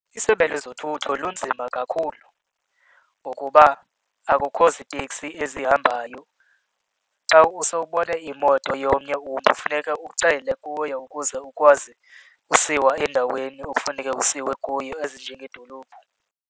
ISebe lezoThutho lunzima kakhulu ngokuba akukho ziitekisi ezihambayo. Xa usewubona imoto yomnye umntu funeka ucele kuyo ukuze ukwazi usiwa endaweni ofuneke usiwe kuyo ezinjengedolophu.